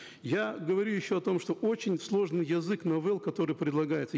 я говорю еще о том что очень сложный язык новелл которые предлагаются